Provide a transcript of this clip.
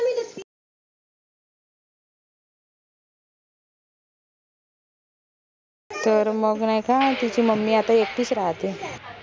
तर मग नाई का तिची mummy आता एकटीच राहाते